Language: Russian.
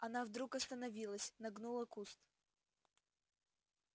она вдруг остановилась нагнула куст